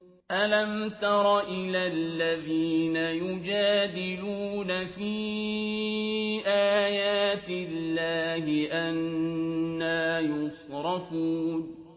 أَلَمْ تَرَ إِلَى الَّذِينَ يُجَادِلُونَ فِي آيَاتِ اللَّهِ أَنَّىٰ يُصْرَفُونَ